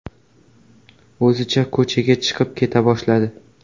O‘zicha ko‘chaga chiqib keta boshladi.